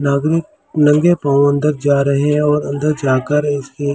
आदमी नंगे पाओ अंदर जा रहे हैं और अंदर जाकर इसके --